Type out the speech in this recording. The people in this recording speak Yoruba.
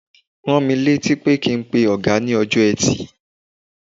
Rán mi létí kí n pe ọ̀gá ní ọjọ́ Ẹtì.